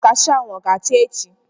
Kashuu ahụ ọ ga-acha echi?